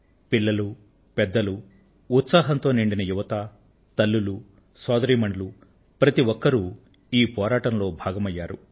పిల్లలు పెద్దలు ఉత్సాహంతో నిండిన యువత తల్లులు సోదరీమణులు ప్రతి ఒక్కరు ఈ పోరాటంలో భాగమయ్యారు